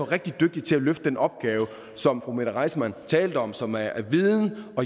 rigtig dygtige til at løfte den opgave som fru mette reissmann talte om som er viden